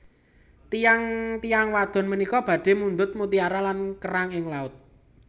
Tiyang tiyang wadon punika badhe mundhut mutiara lan kerang ing laut